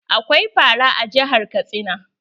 Akwai fara a jihar Katsina.